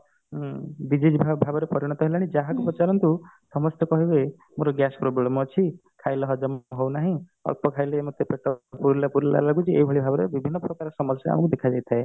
ହୁଁ disease ଭାବେ ପରିଣତ ହେଲାଣି ଯାହାକୁ ପଚାରନ୍ତୁ ସମସ୍ତେ କହିବେ ମୋର gas problem ଅଛି ଖାଇଲେ ହଜମ ହଉନାହିଁ ଅଳ୍ପ ଖାଇଲେ ମତେ ପେଟ ପୁରିଲା ପୁରିଲା ଲାଗୁଛି ଏଇ ଭଳି ଭାବରେ ବିଭିନ୍ନ ପ୍ରକାର ସମସ୍ୟା ଆମକୁ ଦେଖିବାକୁ ମିଳିଥାଏ